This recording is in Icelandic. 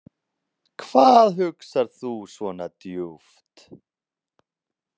Hvað hugsar þú svona djúpt?